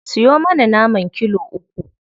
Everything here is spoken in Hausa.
Siyo mana naman kilo uku.